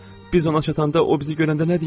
Biz ona çatanda o bizi görəndə nə deyər?